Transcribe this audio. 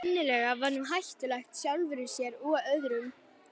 Sennilega var hún hættuleg sjálfri sér og öðrum.